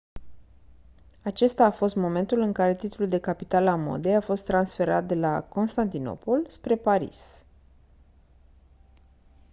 acesta a fost momentul în care titlul de capitală a modei a fost transferat de la constantinopol spre paris